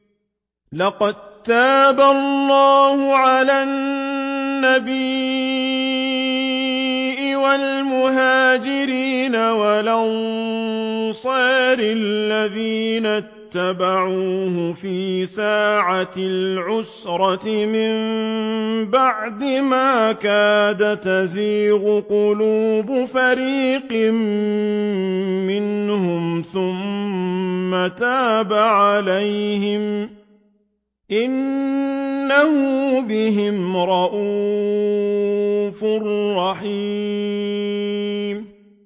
لَّقَد تَّابَ اللَّهُ عَلَى النَّبِيِّ وَالْمُهَاجِرِينَ وَالْأَنصَارِ الَّذِينَ اتَّبَعُوهُ فِي سَاعَةِ الْعُسْرَةِ مِن بَعْدِ مَا كَادَ يَزِيغُ قُلُوبُ فَرِيقٍ مِّنْهُمْ ثُمَّ تَابَ عَلَيْهِمْ ۚ إِنَّهُ بِهِمْ رَءُوفٌ رَّحِيمٌ